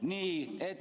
Nii.